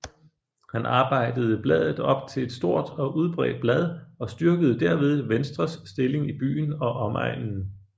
Han arbejdede bladet op til et stort og udbredt blad og styrkede derved Venstres stilling i byen og omegnen